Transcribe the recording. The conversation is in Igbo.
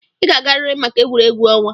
Ị ga-agarịrị maka egwuregwu ọnwa.